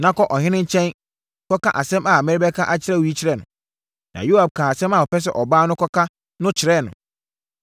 Na kɔ ɔhene nkyɛn kɔka asɛm a merebɛka akyerɛ wo yi kyerɛ no.” Na Yoab kaa asɛm a ɔpɛ sɛ ɔbaa no kɔka no kyerɛɛ no.